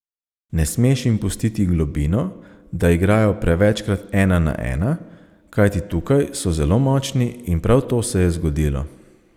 Ne smeš jim pustiti globino, da igrajo prevečkrat ena na ena, kajti tukaj so zelo močni in prav to se je zgodilo.